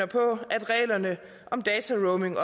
på at reglerne om dataroaming